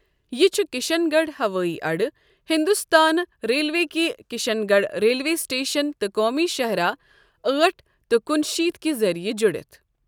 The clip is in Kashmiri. یہِ چھ کشن گڑھ ہوٲیی اَڈٕ، ہِنٛدوستٲنۍ ریلوے كہِ کِشن گَڑھ ریلوے سِٹیشن تہٕ قومی شاہِراہ أٹھ تہٕ کنہٕ شیت کہِ ذٔریعہِ جڈِتھ۔